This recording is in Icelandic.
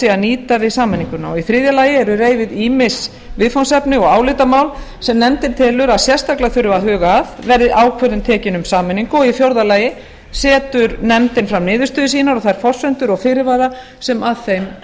að nýta við sameininguna í þriðja lagi eru reifuð ýmis viðfangsefni og álitamál sem nefndin telur að sérstaklega þurfi að huga að verði ákvörðun tekin um sameiningu og í fjórða lagi setur nefndin fram niðurstöður sínar og þær forsendur og fyrirvara sem að þeim